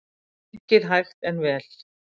Gengið hægt en vel